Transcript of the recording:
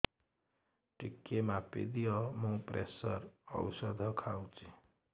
ଟିକେ ମାପିଦିଅ ମୁଁ ପ୍ରେସର ଔଷଧ ଖାଉଚି